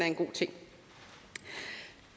en god ting